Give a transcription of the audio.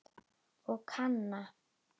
Og Kana?